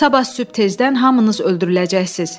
Sabah sübh tezdən hamınız öldürüləcəksiniz.